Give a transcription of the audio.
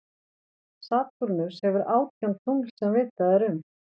Satúrnus hefur átján tungl sem vitað er um.